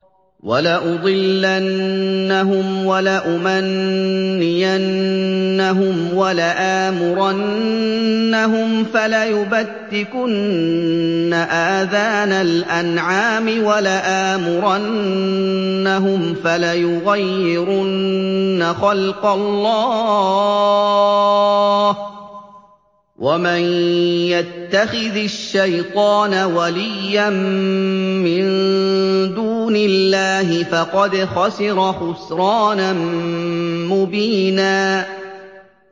وَلَأُضِلَّنَّهُمْ وَلَأُمَنِّيَنَّهُمْ وَلَآمُرَنَّهُمْ فَلَيُبَتِّكُنَّ آذَانَ الْأَنْعَامِ وَلَآمُرَنَّهُمْ فَلَيُغَيِّرُنَّ خَلْقَ اللَّهِ ۚ وَمَن يَتَّخِذِ الشَّيْطَانَ وَلِيًّا مِّن دُونِ اللَّهِ فَقَدْ خَسِرَ خُسْرَانًا مُّبِينًا